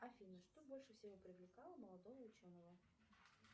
афина что больше всего привлекало молодого ученого